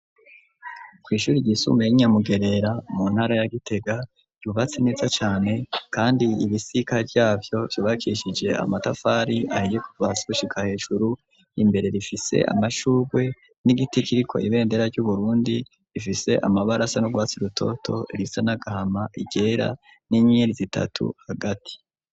Kw'ishuri ry'isumbuye 'inyamugerera mu ntara ya gitega, ryubatse neza cane kandi ibisika ryavyo vyubakishije amatafari ahiye ,kuva hasi gushika hejuru, imbere rifise amashugwe n'igiti kiriko ibendera ry'uburundi, ifise amabarasa n'urwatsi rutoto, risa na gahama iryera, n'inyenyeri zitatu hagati.